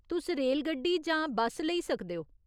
तुस रेलगड्डी जां बस्स लेई सकदे ओ।